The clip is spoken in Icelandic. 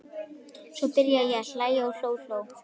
Svo byrjaði ég að hlæja og hló og hló.